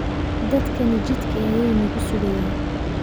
Dadkani jidka ayay nagu sugayaan